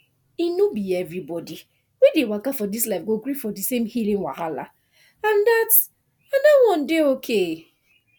e no be everybody wey dey waka for this life go gree for the same healing wahala and dat and dat one dey okay